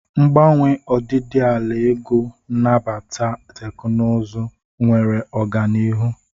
Mgbanwe ọdịdị ala ego, nabata teknụzụ, enwere ọganihu.